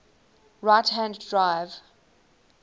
right hand drive